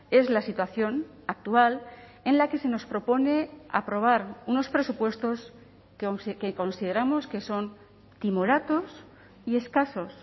es la situación actual en la que se nos propone aprobar unos presupuestos que consideramos que son timoratos y escasos